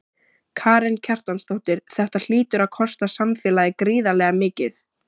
Karen Kjartansdóttir: Þetta hlýtur að kosta samfélagið gríðarlega mikið?